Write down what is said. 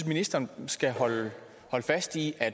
ministeren skal holde fast i at